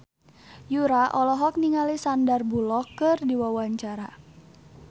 Yura olohok ningali Sandar Bullock keur diwawancara